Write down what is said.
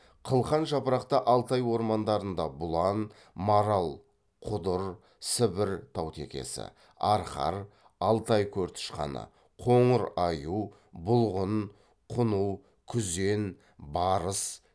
қылқан жапырақты алтай ормандарында бұлан марал құдыр сібір таутекесі арқар алтай көртышқаны қоңыр аю бұлғын құну күзен барыс